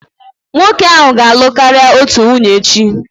Nwoke ahụ ga-alụ karịa otu nwunye echi.